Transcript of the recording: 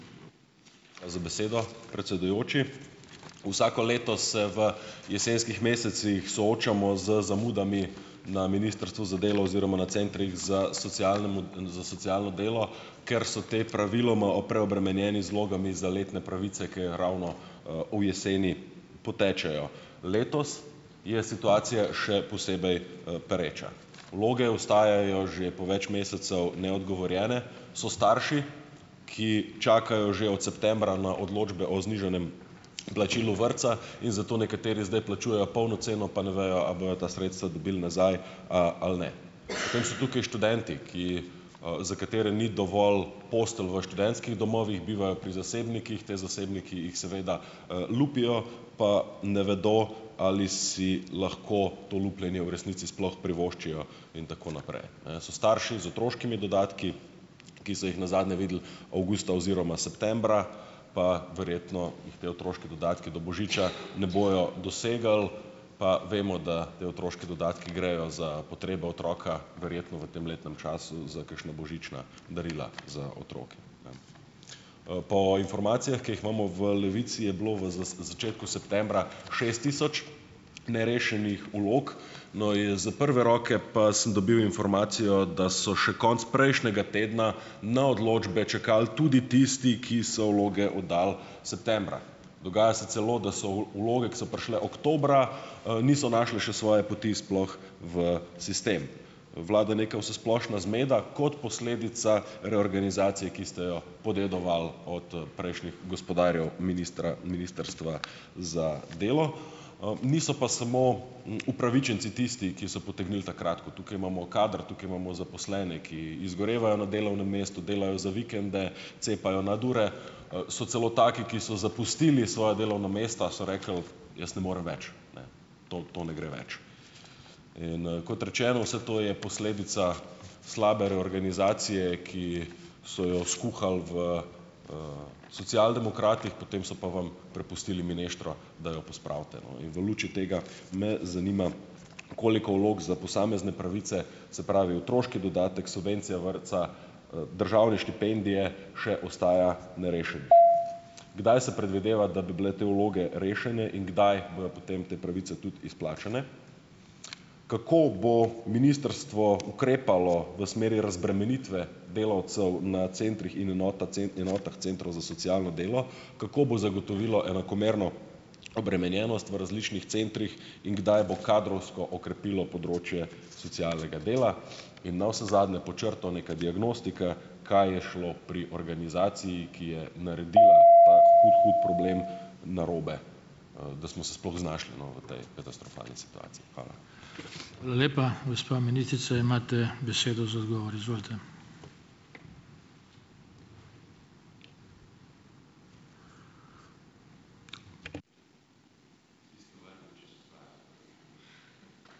Hvala za besedo, predsedujoči. Vsako leto se v jesenskih mesecih soočamo z zamudami na Ministrstvu za delo oziroma na centrih za socialnemu, za socialno delo, ker so ti praviloma preobremenjeni z vlogami za letne pravice, ker je ravno, v jeseni potečejo. Letos je situacija še posebej, pereča. Vloge ostajajo že po več mesecev neodgovorjene. So starši, ki čakajo že od septembra na odločbe o znižanem plačilu vrtca in zato nekateri zdaj plačujejo polno ceno, pa ne vejo, a bojo ta sredstva dobili nazaj, ali ne. Potem so tukaj študenti, ki, za katere ni dovolj postelja v študentskih domovih, bivajo pri zasebnikih. Te zasebniki jih seveda, lupijo, pa ne vedo, ali si lahko to lupljenje v resnici sploh privoščijo in tako naprej, ne. So starši z otroškimi dodatki, ki so jih nazadnje videli avgusta oziroma septembra, pa verjetno jih te otroški dodatki do božiča ne bojo dosegli, pa vemo, da te otroški dodatki grejo za potrebe otroka verjetno v tem letnem času za kakšna božična darila za otroke. Po informacijah, ki jih imamo v Levici, je bilo v začetku septembra šest tisoč nerešenih vlog. No, iz prve roke pa sem dobil informacijo, da so še konec prejšnjega tedna na odločbe čakali tudi tisti, ki so vloge oddali septembra. Dogaja se celo, da so vloge, ki so prišle oktobra, niso našle še svoje poti sploh v sistem. Vlada neka vsesplošna zmeda kot posledica reorganizacije, ki ste jo podedovali od, prejšnjih gospodarjev ministra Ministrstva za delo, niso pa samo, upravičenci tisti, ki so potegnili ta kratko. Tukaj imamo kader, tukaj imamo zaposlene, ki izgorevajo na delovnem mestu, delajo za vikende, cepajo nadure, so celo taki, ki so zapustili svoja delovna mesta, so rekli, jaz ne morem več, to, to ne gre več. In, kot rečeno, vse to je posledica slabe reorganizacije, ki so jo skuhali v Socialdemokratih, potem so pa vam prepustili mineštro, da jo pospravite, no, in v luči tega me zanima, koliko vlog za posamezne pravice, se pravi, otroški dodatek, subvencija vrtca, državne štipendije še ostaja Kdaj se predvideva, da bi bile te vloge rešene in kdaj bojo potem te pravice tudi izplačane? Kako bo ministrstvo ukrepalo v smeri razbremenitve delavcev na centrih in enota enotah centrov za socialno delo? Kako bo zagotovilo enakomerno obremenjenost v različnih centrih in kdaj bo kadrovsko okrepilo področje socialnega dela? In navsezadnje, pod črto, neka diagnostika, kaj je šlo pri organizaciji, ki je naredila ta problem narobe, da smo se sploh znašli no, v tej katastrofalni situaciji? Hvala.